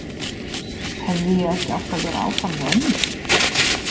Hefði ég ekki átt að vera áfram hjá ömmu?